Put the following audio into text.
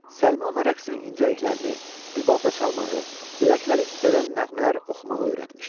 Səlmə ona rəqsin incəliklərini, rübabda çalmağı, ürəkləri titrədən nəğmələr oxumağı öyrətmişdi.